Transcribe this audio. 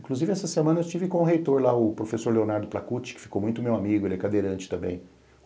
Inclusive essa semana eu estive com o reitor lá, o professor Leonardo Placucci, que ficou muito meu amigo, ele é cadeirante também.